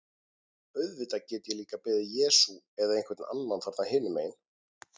Auðvitað get ég líka beðið Jesú eða einhvern annan þarna hinum megin.